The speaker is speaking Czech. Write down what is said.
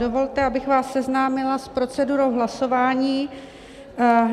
Dovolte, abych vás seznámila s procedurou hlasování.